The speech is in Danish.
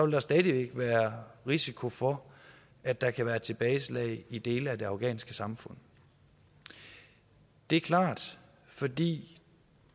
der stadig væk være risiko for at der kan være tilbageslag i dele af det afghanske samfund det er klart fordi